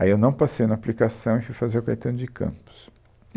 Aí eu não passei no Aplicação e fui fazer o Caetano de Campos.